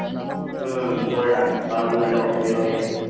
হম করে রাখ কারণ নইলে অসুবিধা হয়ে যাবে।